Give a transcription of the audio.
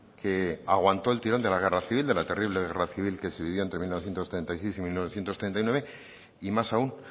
que aguantó el tirón de la guerra civil de la terrible guerra civil que se vivió entre mil novecientos treinta y seis y mil novecientos treinta y nueve y más aún